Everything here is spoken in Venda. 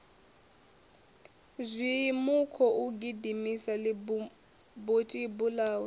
zhimmm ukhou gidimisa ḽitibutibu ḽawe